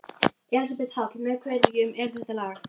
Elísabet Hall: Með hverjum er það lag?